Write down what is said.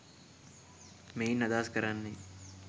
මෙයින් අදහස් කරන්නේ